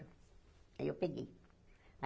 Aí eu peguei.